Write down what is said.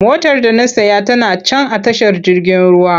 Motar da na saya tana can a tashar jirgin ruwa.